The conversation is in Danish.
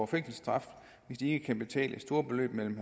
fængselsstraf hvis de ikke kan betale store beløb mellem